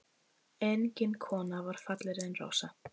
Engin kona var fallegri en Rósa.